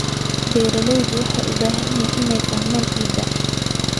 Beeralayda waxay u baahan yihiin inay fahmaan ciidda.